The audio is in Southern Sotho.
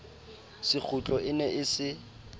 sekgutlo e ne e se